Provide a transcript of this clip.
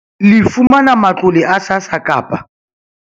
Le fumana matlole a SASSA kapa